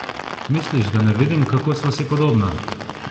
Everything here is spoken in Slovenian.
Misliš, da ne vidim, kako sva si podobna?